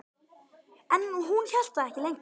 En hún hélt það ekki lengur.